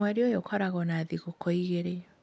Mweri ũyũ ũkoragwo na thigũkũ igĩrĩ.